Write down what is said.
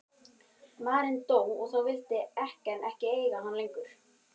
Maðurinn dó og þá vildi ekkjan ekki eiga hann lengur.